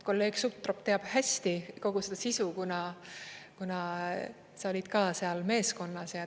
Kolleeg Sutrop teab hästi kogu seda sisu, kuna sa olid ka seal meeskonnas.